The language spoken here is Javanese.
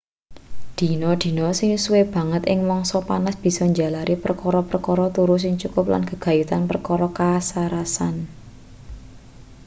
dina-dina sing suwe banget ing mangsa panas bisa njalari perkara-perkara turu sing cukup lan gegayutan perkara kasarasan